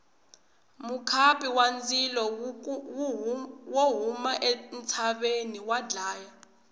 mukhapu wa ndzilo wo huma entshaveni wa dlaya